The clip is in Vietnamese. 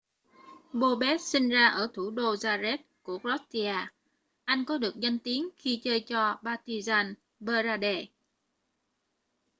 bobek sinh ra ở thủ đô zagreb của croatia anh có được danh tiếng khi chơi cho partizan belgrade